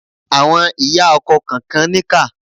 Àwọn ìyá ọkọ kànkan níkà.